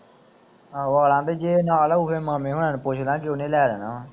ਆਹੋ ਜੇ ਨਾਲ ਹੋਵੇ ਮਾਮੇ ਹੋਣਾਂ ਨੂੰ ਪੁੱਛਦਾ ਜੇ ਉਹਨੇ ਲੈ ਲੈਣਾ ਵਾ।